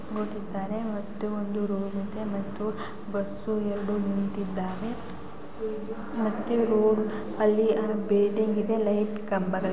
ಮತ್ತು ಒಂದು ರೂಮ್ ಇದೆ ಮತ್ತು ಬಸ್ಸು ಎರಡು ನಿಂತಿದ್ದಾವೆ ಮತ್ತು ರೋಡ್ ಅಲ್ಲಿ ಇದೆ ಲೈಟ್ ಕಂಬಗಳಿದೆ .